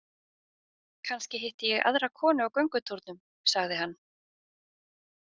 Kannski hitti ég aðra konu á göngutúrnum, sagði hann.